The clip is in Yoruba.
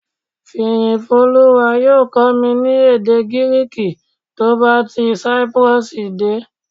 Fìyìfólúwa yóò kọ́ mi ní èdè Gíríìkì tó bá ti Cyprus dé